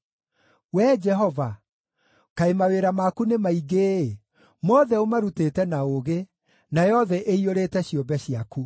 Wee Jehova, kaĩ mawĩra maku nĩ maingĩ-ĩ! Mothe ũmarutĩte na ũũgĩ; nayo thĩ ĩiyũrĩte ciũmbe ciaku.